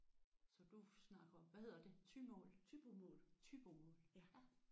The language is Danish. Så du snakker hvad hedder det thymål thybomål?